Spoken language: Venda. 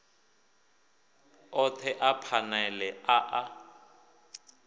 othe a phanele a a